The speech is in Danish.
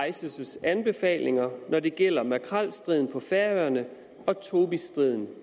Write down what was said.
ices anbefalinger når det gælder makrelstriden på færøerne og tobisstriden